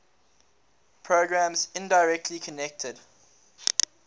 programs indirectly connected